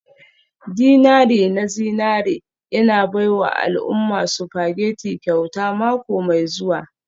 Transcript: dinari na zinari yana baiwa al'umma spaghetti kyauta mako mai zuwa.